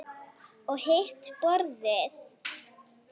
Og hitt borðið?